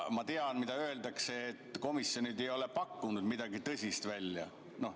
Ma tean, mida öeldakse: komisjonid ei ole pakkunud midagi tõsist välja.